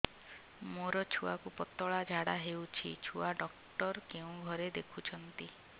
ମୋର ଛୁଆକୁ ପତଳା ଝାଡ଼ା ହେଉଛି ଛୁଆ ଡକ୍ଟର କେଉଁ ଘରେ ଦେଖୁଛନ୍ତି